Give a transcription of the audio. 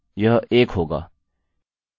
यह एक होगा